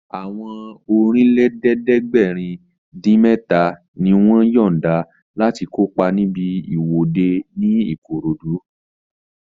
Àwọn Ọ̀rìnlélẹ̀ẹ́dẹ́gbèrin-dín-mẹ́ta ni wọ́n yọ̀nda láti kópa níbi ìwọ́de ní Ìkòròdú